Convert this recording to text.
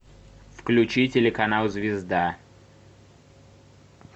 включи телеканал звезда